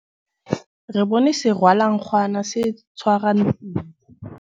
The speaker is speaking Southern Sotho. re bone serwalankgwana se tshwara ntshintshi